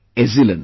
Ezilon